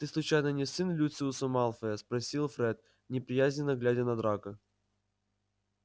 ты случайно не сын люциуса малфоя спросил фред неприязненно глядя на драко